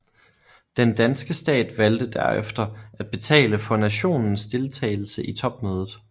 Den danske stat valgte derefter at betale for nationens deltagelse i topmødet